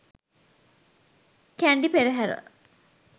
kandy perahera